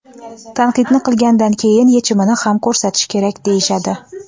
Tanqidni qilgandan keyin yechimni ham ko‘rsatish kerak, deyishadi.